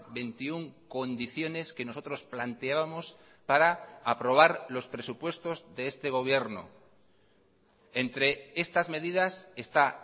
veintiuno condiciones que nosotros planteábamos para aprobar los presupuestos de este gobierno entre estas medidas está